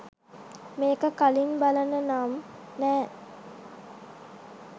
මේක කලින් බලල නම් නෑ